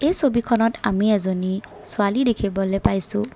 ছবিখনত আমি এজনী ছোৱালী দেখিবলে পাইছোঁ।